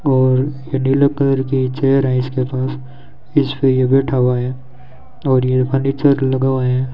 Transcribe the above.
और ये नीले कलर की चेयर है इसके पास इसपे ये बैठा हुआ है और ये फर्नीचर लगा हुआ है।